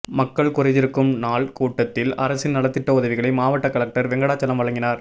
மக்கள் குறைதீர்க்கும் நாள் கூட்டத்தில் அரசின் நலத்திட்ட உதவிகளை மாவட்ட கலெக்டர் வெங்கடாசலம் வழங்கினார்